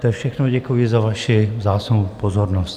To je všechno, děkuji za vaši vzácnou pozornost.